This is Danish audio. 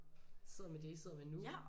Sidder med det I sidder med nu